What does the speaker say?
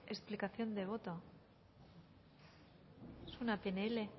explicación de voto es una pnl